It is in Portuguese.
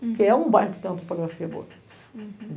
Porque é um bairro que tem uma topografia boa.